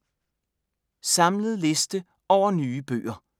Samlet liste over nye bøger